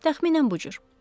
Təxminən bu cür.